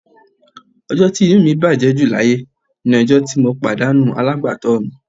Ọjọ́ tí inú mi bàjẹ́ ju láyé ni ọjọ́ tí mo pàdánù alágbàtọ́ mi